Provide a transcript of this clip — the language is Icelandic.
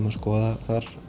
að skoða